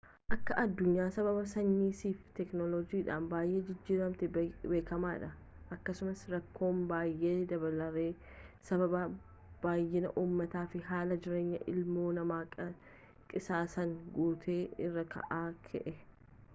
akka aduunyaan sababa saayinsiif teekinoolojiidhan baay'ee jijjiiramte beekamaa dha akkasuma rakkoom baayee dabaleerra sababa baay'inaa umaatafi haala jiraanyaa ilmoo namaa qisaasaan guute irraa kan ka'e